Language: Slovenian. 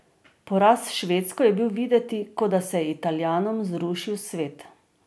Poraz s Švedsko je bil videti, kot da se je Italijanom zrušil svet.